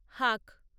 হাক